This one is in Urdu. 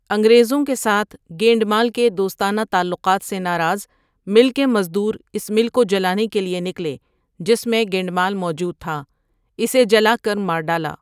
انگریزوں کے ساتھ گینڈمال کے دوستانہ تعلقات سے ناراض مل کے مزدور اس مل کو جلانے کے لیے نکلے جس میں گینڈمال موجود تھا، اسے جلا کر مار ڈالا۔